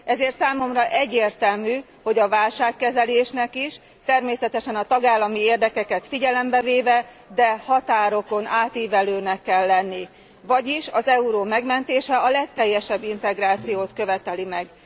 Ezért számomra egyértelmű, hogy a válságkezelésnek is természetesen a tagállami érdekeket figyelembe véve, de határokon átívelőnek kell lenni. Vagyis az euró megmentése a legteljesebb integrációt követeli meg.